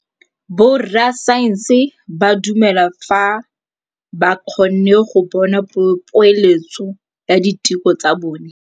Borra saense ba dumela fela fa ba kgonne go bona poeletsô ya diteko tsa bone.